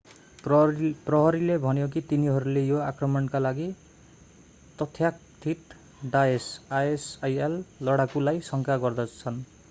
प्रहरीले भन्यो कि तिनीहरूले यो आक्रमणका लागि तथाकथित डाएस isil लडाकुलाई शङ्का गर्छन्।